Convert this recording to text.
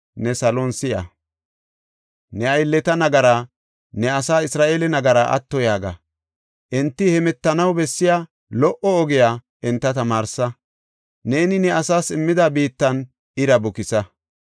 ne salon si7a. Ne aylleta nagaraa, ne asaa Isra7eele nagaraa atto yaaga. Enti hemetanaw bessiya lo77o ogiya enta tamaarsa; neeni ne asaas immida biittan ira bukisa.